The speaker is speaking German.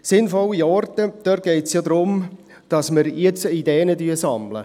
Sinnvolle Orte: Dabei geht es ja darum, dass wir jetzt Ideen sammeln.